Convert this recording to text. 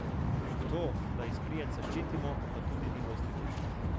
To, da izprijenca ščitimo, pa tudi ni dosti boljše.